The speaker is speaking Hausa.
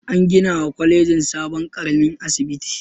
An ginawa kwalejin sabon ƙaramin asibiti.